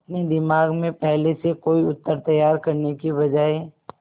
अपने दिमाग में पहले से कोई उत्तर तैयार करने की बजाय